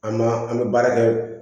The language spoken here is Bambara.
An ma an bɛ baara kɛ